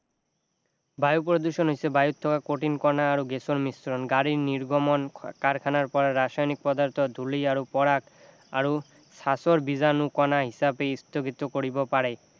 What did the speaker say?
বায়ু প্ৰদূষণ হৈছে বায়ুত থকা কঠিন কণা আৰু গেছৰ মিশ্ৰণ গাড়ীৰ নিৰ্গমন কাৰখানাৰ পৰা ৰাসায়নিক পদাৰ্থ ধূলি আৰু পৰাগ আৰু বিজাণু কণা হিচাপে স্থগিত কৰিব পাৰে